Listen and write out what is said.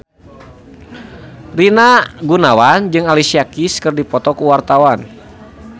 Rina Gunawan jeung Alicia Keys keur dipoto ku wartawan